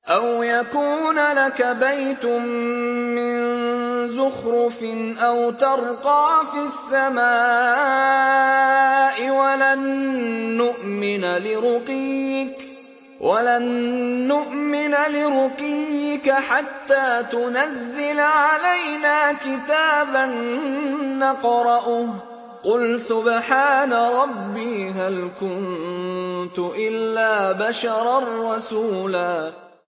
أَوْ يَكُونَ لَكَ بَيْتٌ مِّن زُخْرُفٍ أَوْ تَرْقَىٰ فِي السَّمَاءِ وَلَن نُّؤْمِنَ لِرُقِيِّكَ حَتَّىٰ تُنَزِّلَ عَلَيْنَا كِتَابًا نَّقْرَؤُهُ ۗ قُلْ سُبْحَانَ رَبِّي هَلْ كُنتُ إِلَّا بَشَرًا رَّسُولًا